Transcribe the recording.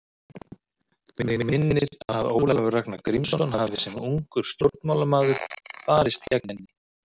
Mig minnir að Ólafur Ragnar Grímsson hafi sem ungur stjórnmálamaður barist gegn henni.